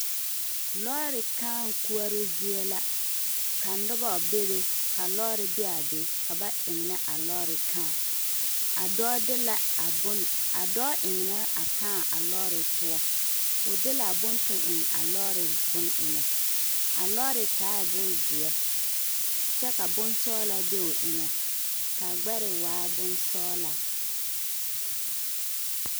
Lɔɔre kaa koɔroo zie la ka nobɔ bebe ka lɔɔre be a be ka ba eŋnɛ a lɔɔre kaa a dɔɔ de la a bon a dɔɔ eŋnɛɛ a kaa a lɔɔre poɔ o de laa bon toŋ eŋ a lɔɔreŋ bon eŋɛ a lɔɔre taaɛ bonzeɛ kyɛ ka bonsɔglaa be o eŋɛ kaa gbɛre waa bonsɔɔlaa.